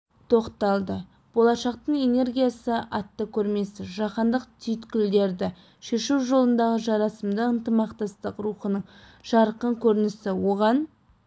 тоқталды болашақтың энергиясы атты көрмесі жаһандық түйткілдерді шешу жолындағы жарасымды ынтымақтастық рухының жарқын көрінісі оған